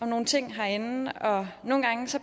nogle ting herinde og nogle gange